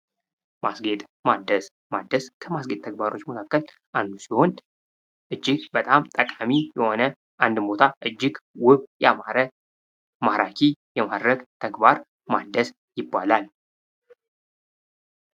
ማስጌጥ ማደስ። ማደስ ከማስጌጥ ተግባሮች መካከል አንዱ ሲሆን እጅግ በጣም ጠቃሚ የሆነ፣ አንድን ቦታ እጅግ ውብ ፣ያማረ፣ ማራኪ የማድረግ ተግባር ማደስ ይባላል።